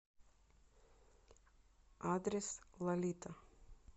адрес лолита